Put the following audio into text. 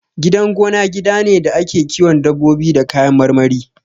Gidan gona gida ne da ake kiwon dabbobi da kayan marmari